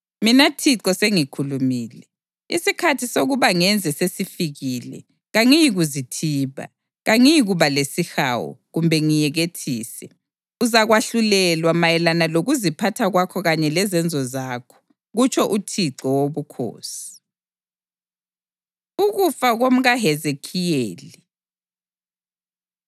Mina Thixo sengikhulumile. Isikhathi sokuba ngenze sesifikile. Kangiyikuzithiba; kangiyikuba lesihawu, kumbe ngiyekethise. Uzakwahlulelwa mayelana lokuziphatha kwakho kanye lezenzo zakho, kutsho uThixo Wobukhosi.’ ” Ukufa KomkaHezekhiyeli